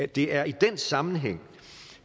det er i den sammenhæng